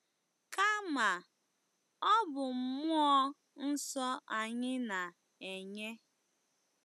Kama, ọ bụ mmụọ nsọ anyị na-enye.